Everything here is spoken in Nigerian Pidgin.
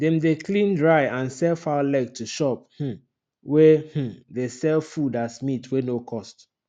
dem dey clean dry and sell fowl leg to shop um wey um dey sell food as meat wey no cost